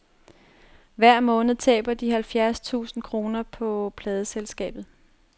Hver måned taber de halvfjerds tusind kroner på pladeselskabet.